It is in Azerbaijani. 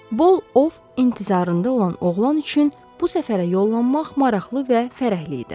Bol ov intizarında olan oğlan üçün bu səfərə yollanmaq maraqlı və fərəhli idi.